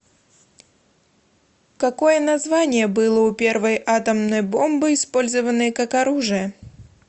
какое название было у первой атомной бомбы использованной как оружие